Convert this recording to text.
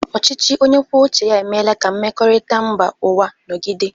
Ọchịchị onye kwuo uche ya emeela ka mmekọrịta mba ụwa nọgide.